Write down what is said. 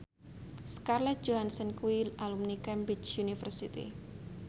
Scarlett Johansson kuwi alumni Cambridge University